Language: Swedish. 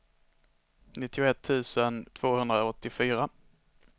nittioett tusen tvåhundraåttiofyra